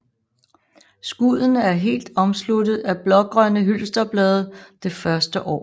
Skuddene er helt omsluttet af blågrønne hylsterblade det første år